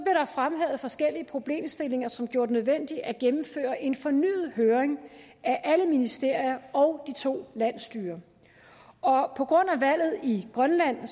fremhævet forskellige problemstillinger som gjorde det nødvendigt at gennemføre en fornyet høring af alle ministerier og de to landsstyrer på grund af valget i grønland har